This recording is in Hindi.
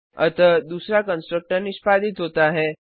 अतः दूसरा कंस्ट्रक्टर निष्पादित होता है